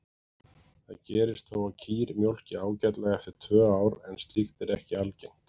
Það gerist þó að kýr mjólki ágætlega eftir tvö ár en slíkt er ekki algengt.